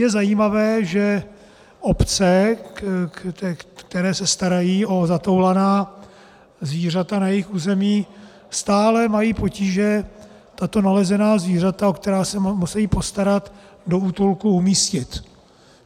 Je zajímavé, že obce, které se starají o zatoulaná zvířata na svém území, stále mají potíže tato nalezená zvířata, o která se musí postarat, do útulku umístit.